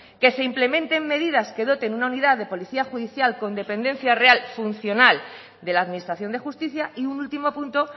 que se implementes medidas que doten una unidad de policía judicial con dependencia real funcional de la administración de justicia y un último punto